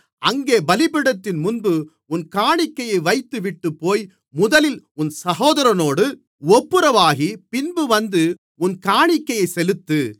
அங்கே பலிபீடத்தின்முன்பு உன் காணிக்கையை வைத்துவிட்டுப்போய் முதலில் உன் சகோதரனோடு ஒப்புரவாகி பின்பு வந்து உன் காணிக்கையைச் செலுத்து